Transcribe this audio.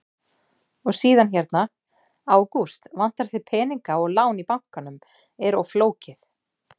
Og síðan hérna: Ágúst, vantar þig peninga og lán í bankanum er of flókið?